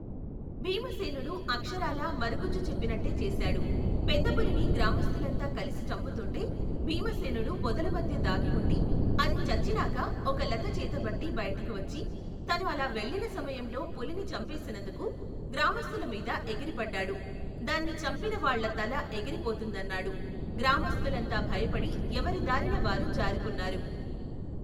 భీమసేనుడు అక్షరాలా మరగుజ్జు చెప్పినట్టే చేశాడు. పెద్దపులిని గ్రామస్థులంతా కలిసి చంపుతుంటే భీమసేనుడు పొదల మధ్య దాగిఉండి, అది చచ్చినాక ఒకలత చేతబట్టి బయటికి వచ్చి, తను అలావెళ్లిన సమయంలో పులిని చంపేసినందుకు గ్రామస్తులమీద ఎగిరిపడ్డాడు.దాన్ని చంపిన వాళ్ల తల ఎగిరి పోతుందన్నాడు, గ్రామస్థులంతా భయపడి ఎవరి దారిన వారు జారుకున్నారు.